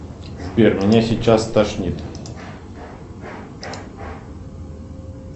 сбер меня сейчас стошнит